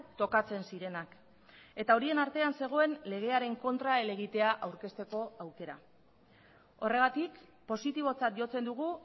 tokatzen zirenak eta horien artean zegoen legearen kontra helegitea aurkezteko aukera horregatik positibotzat jotzen dugu